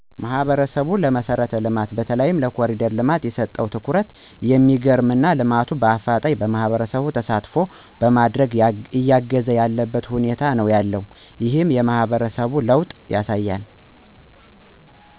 ማህበረሰቡ ለመሰረት ልማት በተለይም ለኮሪደር ልማት የሰጠው ትኩረት የሚገርም እና ልማቱም በአፋጣኝ ማህበረሰቡ ተሳትፎ በማድረግ እያገዘ ያለበት ሁኔታ ነው ያለው። ይህም የማህበረሰቡን ለወጥ ያሳያል።